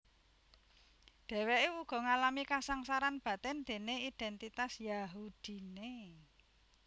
Dhèwèké uga ngalami kasangsaran batin déné idèntitas Yahudiné